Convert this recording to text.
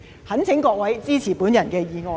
懇請各位支持我的議案。